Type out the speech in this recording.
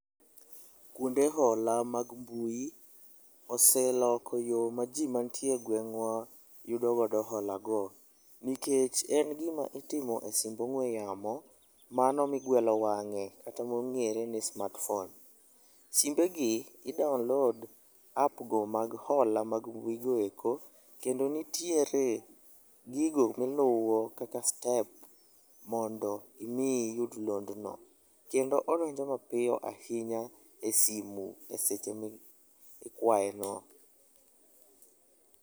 Kwonde hola mag mbui oseloko yo ma ji mantie e gweng'wa yudo godo holago nikech en gima itimo e simb ong'we yamo mano migwelo wang'e, kata mong'ere ni smartphone. Simbegi i download app go mag hola mga mbuigo eko kendo nitiere gigo ma iluwo kaka steps mondo imi iyud londno. Kendo odonjo mapiyo ahinya e simu e seche mikwayeno.